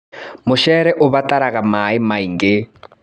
Mũcere ũbataraga maĩ maingĩ.